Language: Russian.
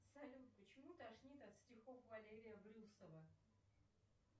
салют почему тошнит от стихов валерия брюсова